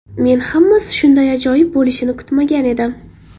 Men hammasi shunday ajoyib bo‘lishini kutmagan edim.